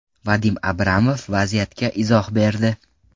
Vadim Abramov vaziyatga izoh berdi.